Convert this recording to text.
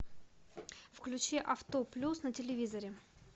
включи авто плюс на телевизоре